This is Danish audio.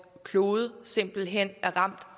klode simpelt hen er ramt